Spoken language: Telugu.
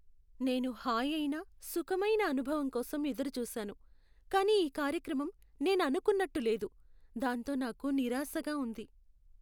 నేను హాయైన, సుఖమైన అనుభవం కోసం ఎదురు చూసాను, కానీ ఈ కార్యక్రమం నేను అనుకున్నట్టు లేదు, దాంతో నాకు నిరాశగా ఉంది.